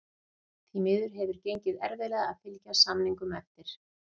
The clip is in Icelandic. Því miður hefur gengið erfiðlega að fylgja samningum eftir.